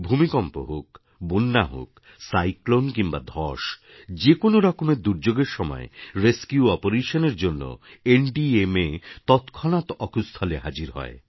ভূমিকম্প হোক বন্যা হোক সাইক্লোন কিংবা ধ্বস যে কোনও রকমের দুর্যোগের সময় রেসকিউপারেশন এর জন্য এনডিএমএ তৎক্ষণাৎ অকুস্থলে হাজির হয়